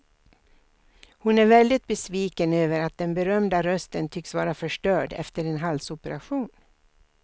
Hon är väldigt besviken över att den berömda rösten tycks vara förstörd efter en halsoperation.